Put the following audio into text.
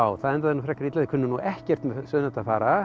það endaði nú frekar illa þeir kunnu ekkert með sauðnaut að fara